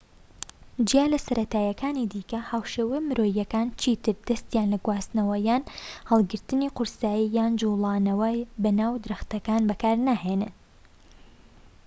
جیا لە سەرەتاییەکانی دیکە هاوشێوە مرۆییەکان چی تر دەستیان لە گواستنەوە یان هەڵگرتنی قورسایی یان جوڵانەوە بەناو درەختەکان بەکار ناهێنن